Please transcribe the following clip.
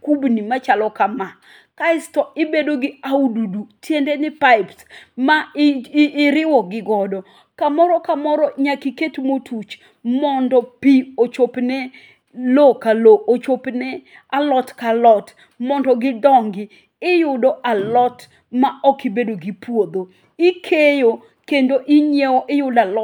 kubni machalo kama kaesto ibedogi aududut tiendeni pipes ma i iriwogi godo. Kamoro kamoro nyaka iket motuch mondo pii ochopne loo ka loo ochopne alot ka alot mondo gi dongi. Iyudo alot ma ok ibedo gi puodho ikeyo kendo inyiewo iyudo alot